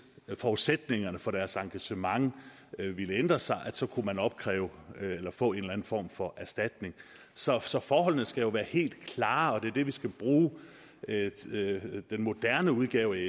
forudsætningerne for deres engagement ændrer sig kunne man kræve at få en form for erstatning så så forholdene skal være helt klare og det er det vi skal bruge den moderne udgave